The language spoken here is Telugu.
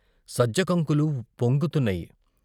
సజ్జ కంకులు పొంగుతున్నాయి.